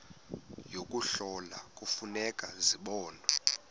yokuhlola kufuneka zibonwe